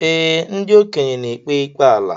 Ee, ndị okenye n'ekpe ikpe ala.